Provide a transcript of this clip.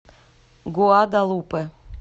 гуадалупе